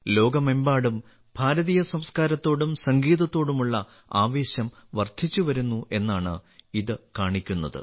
ലോകമെമ്പാടും ഭാരതീയ സംസ്കാരത്തോടും സംഗീതത്തോടുമുള്ള ആവേശം വർധിച്ചുവരുന്നു എന്നാണ് ഇത് കാണിക്കുന്നത്